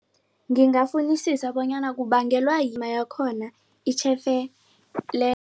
Ngingafunisisa bonyana kubangelwa